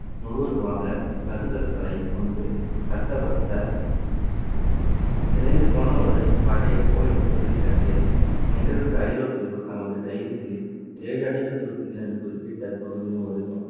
முழுவதுமாக கருங்கற்களை கொண்டு கட்டப்பட்ட சிதைந்து போன ஒரு பழைய கோயிலை வெளிக்கட்டியது. இந்நிகழ்வுக்கு ஐரோப்பியர்கள் தங்களது diary களில் ஏழு அடுக்கு தூதிகள் என்று குறிப்பிட்ட பகுதியின் ஒரு